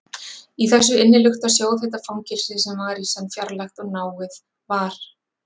Í þessu innilukta, sjóðheita fangelsi, sem var í senn fjarlægt og náið, var